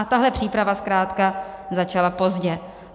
A tahle příprava zkrátka začala pozdě.